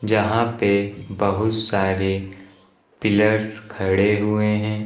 यहां पे बहुत सारे पिलर्स खड़े हुए हैं।